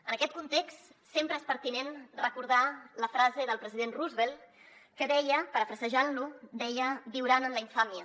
en aquest context sempre és pertinent recordar la frase del president roosevelt que deia parafrasejant lo deia viuran en la infàmia